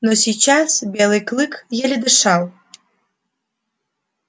но сейчас белый клык еле дышал